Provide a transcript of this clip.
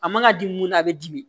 A man ka di mun na a bɛ dimi